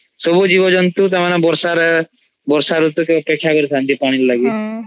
ସବୁଜୀବଜନ୍ତୁ ତାଂକ ବର୍ଷା ରେ ବର୍ଷା ରୁତୁ କୁ ଅପେକ୍ଷା କରିଥାନ୍ତି ପାଣି ଲାଗି